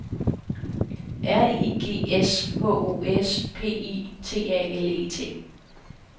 R I G S H O S P I T A L E T